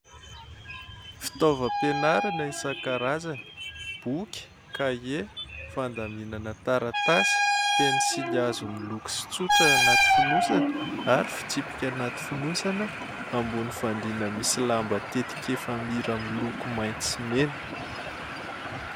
Fitaovam-pianarana isan-karazany: boky, kahie, fandaminana taratasy, pensily hazo miloko sy tsotra anaty finosana ary fitsipika hanaty fonosana, ambony fandriana misy lamba tetika efa-mira miloko mainty sy mena.